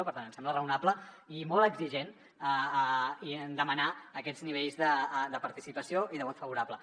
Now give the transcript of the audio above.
per tant ens sembla raonable i molt exigent demanar aquests nivells de participació i de vot favorable